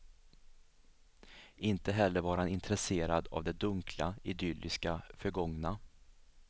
Inte heller var han intresserad av det dunkla, idylliska förgångna.